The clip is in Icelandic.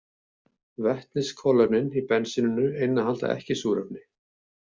Vetniskolefnin í bensíninu innihalda ekki súrefni.